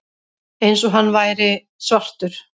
Eins og hann væri svartur.